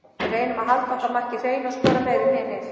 Við reynum að halda okkar marki hreinu og skora meira en hinir.